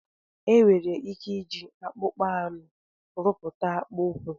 Enwere ike iji akpụkpa anụ arụpụta akpụ ụkwụ.